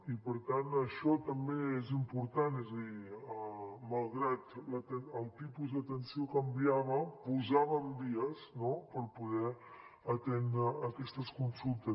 i per tant això també és important és a dir malgrat el tipus d’atenció canviava posàvem vies no per poder atendre aquestes consultes